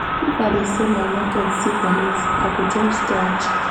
if i dey sell my market see police i go just dodge.